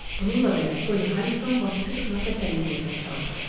Bununla belə, Polli Harinqton bacısı qızına təsəlli verməyə çalışdı.